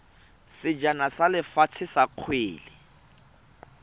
sejana sa lefatshe sa kgwele